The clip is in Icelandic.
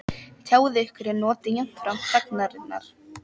Tjáið ykkur en njótið jafnframt þagnarinnar